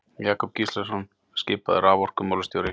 Jakob Gíslason skipaður raforkumálastjóri.